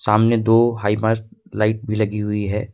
सामने दो हाइमर लाइट भी लगी हुई।